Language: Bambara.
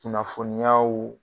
Kunnafoniyaw.